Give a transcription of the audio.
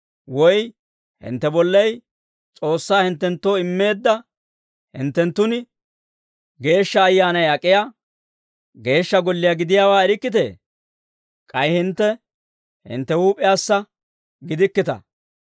Woy hintte bollay S'oossay hinttenttoo immeedda hinttenttun de'iyaa Geeshsha Ayyaanay ak'iyaa geeshsha golliyaa gidiyaawaa erikkitee? K'ay hintte hintte huup'iyaassa gidikkita.